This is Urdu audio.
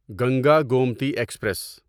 گنگا گومتی ایکسپریس